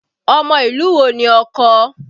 Ọmọ ìlú wo ni ọkọ?